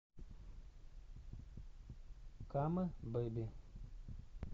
кама бэби